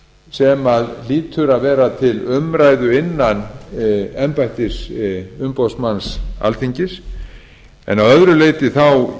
sem hlýtur að vera til umræðu innan embættis umboðsmanns alþingis en að öðru leyti